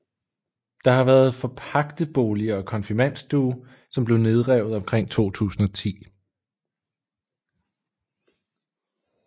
Der har været forpagtebolig og konfirmandstue som blev nedrevet omkring 2010